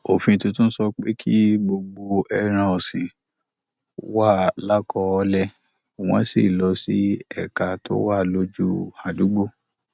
òfin tuntun sọ pé kí gbogbo ẹran òsìn wà lákọọlè wọn sì lọ sí ẹka tó wà lójú àdúgbò